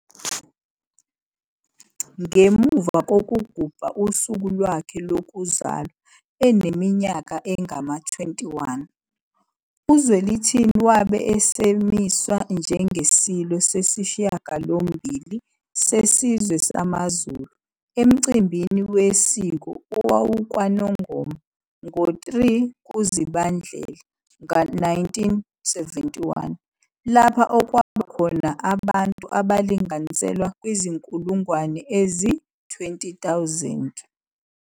Ngemuva kokugubha usuku lwakhe lokuzalwa eneminyaka engama-21, uZwelithini wabe esemiswa njengeSilo sesishiyagalombili sesizwe samaZulu emcimbini wesiko owawukwaNongoma ngo-3 kuZibandlela 1971, lapha okwaba khona abantu abalinganiselwa kwizinkulungwane ezi-20,000.